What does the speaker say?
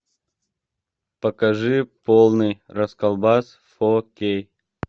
покажи полный расколбас фо кей